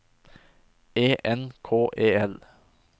E N K E L